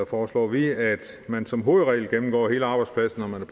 foreslår vi at man som hovedregel gennemgår hele arbejdspladsen når man